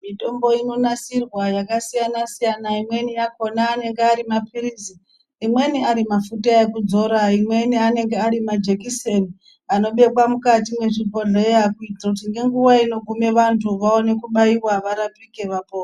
Mitombo inonasirwa yakasiyana -siyana. Imweni yakhona anenge ari maphilizi imweni ari mafuta ekudzora imweni anenge ari majekiseni anobekwa mukati mwezvibhodhleya kuitira kuti ngenguwa inoguma vantu vaone kubaiwa varapike vapone.